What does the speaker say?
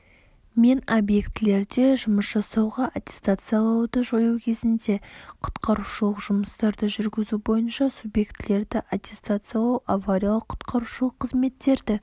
мен объектілерде жұмыс жасауға аттестациялауды жою кезінде құтқарушылық жұмыстарды жүргізу бойынша субъектілерді аттестациялау авариялық-құтқарушылық қызметтерді